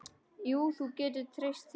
Jú, þú getur treyst því.